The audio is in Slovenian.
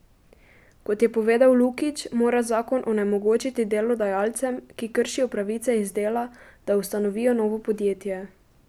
Kot je povedal Lukič, mora zakon onemogočiti delodajalcem, ki kršijo pravice iz dela, da ustanovijo novo podjetje.